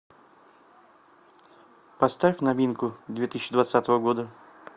поставь новинку две тысячи двадцатого года